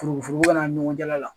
Foroforo kana ani ɲɔgɔn cɛla la